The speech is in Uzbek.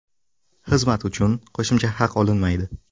Xizmat uchun qo‘shimcha haq olinmaydi.